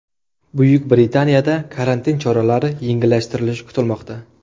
Buyuk Britaniyada karantin choralari yengillashtirilishi kutilmoqda.